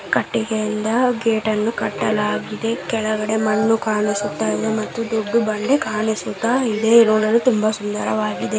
ಕಟ್ಟಿಗೆಯಿಂದ ಗೇಟನ್ನು ಕಟ್ಟಲಾಗಿದೆ ಕೆಳಗೆ ಮಣ್ಣು ಇದೆ .